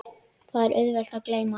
Það er auðvelt að gleyma.